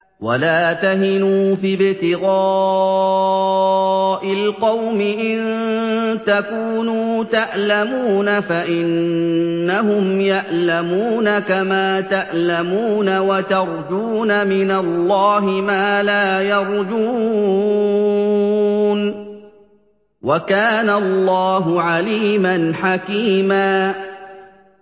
وَلَا تَهِنُوا فِي ابْتِغَاءِ الْقَوْمِ ۖ إِن تَكُونُوا تَأْلَمُونَ فَإِنَّهُمْ يَأْلَمُونَ كَمَا تَأْلَمُونَ ۖ وَتَرْجُونَ مِنَ اللَّهِ مَا لَا يَرْجُونَ ۗ وَكَانَ اللَّهُ عَلِيمًا حَكِيمًا